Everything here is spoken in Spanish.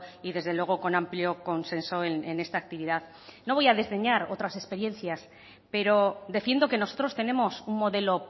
y desde luego con amplio consenso en esta actividad no voy a desdeñar otras experiencias pero defiendo que nosotros tenemos un modelo